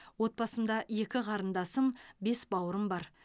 отбасымда екі қарындасым бес бауырым бар